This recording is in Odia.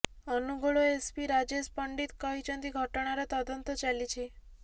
ଅନୁଗୋଳ ଏସ୍ପି ରାଜେଶ ପଣ୍ଡିତ କହିଛନ୍ତି ଘଟଣାର ତଦନ୍ତ ଚାଲିଛି